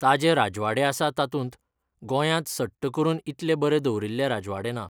ताजे राजवाडे आसा तातूंत, गोंयांत सट्ट करून इतले बरे दवरिल्ले राजवाडे ना.